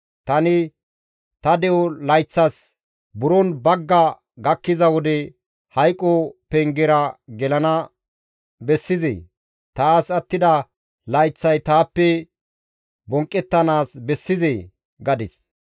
tani, «Ta de7o layththas buron bagga gakkiza wode, hayqo pengera gelana bessizee? Taas attida layththay taappe bonqqettanaas bessizee?» gadis.